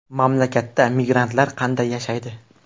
Mamlakatda migrantlar qanday yashaydi?